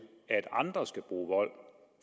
at andre skal bruge vold